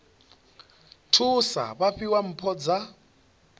thusa vha fhiwa mpho dza